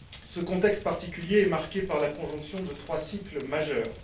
Ce contexte particulier est marqué par la conjonction de trois cycles majeurs.